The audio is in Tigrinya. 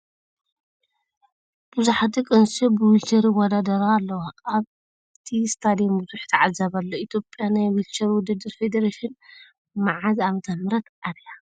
ብዙሓት ደቂ ኣንስትዮ ብ ዊልቸር ይወዳደራ ኣለዋ ኣብቲ ስታድየም ብዙሕ ተዓዛቢ ኣሎ ። ኢትዮጵያ ናብ ናይ ዊልቸር ውድድር ፌደሬሽን ምዓዘ ዕ/ም ኣትያ?